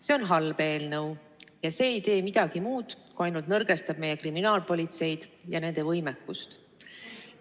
See on halb eelnõu ja see ei tee midagi muud, kui ainult nõrgestab meie kriminaalpolitseid ja selle võimekust.